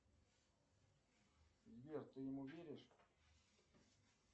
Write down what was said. сбер ты ему веришь